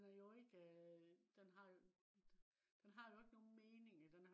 den har jo ikke øh den har den har jo ikke nogen mening